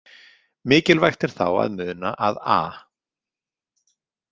Mikilvægt er þá að muna að a.